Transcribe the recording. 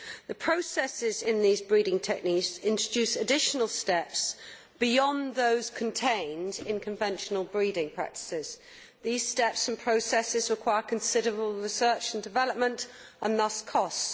The processes in these breeding techniques introduce additional steps beyond those contained in conventional breeding practices. These steps and processes require considerable research and development, and therefore entail costs.